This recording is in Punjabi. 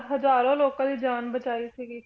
ਹਜ਼ਾਰਾਂ ਲੋਕਾਂ ਦੀ ਜਾਨ ਬਚਾਈ ਸੀਗੀ॥